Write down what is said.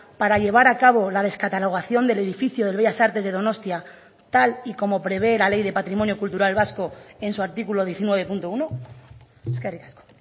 para llevar a cabo la descatalogación del edificio del bellas artes de donostia tal y como prevé la ley de patrimonio cultural vasco en su artículo diecinueve punto uno eskerrik asko